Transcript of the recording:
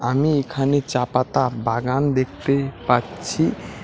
আমি এখানে চা পাতা বাগান দেখতে পাচ্ছি।